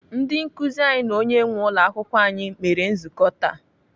Ndị nkụzi anyị na onye nwee ụlọakwụkwọ anyị mere nzukọ taa.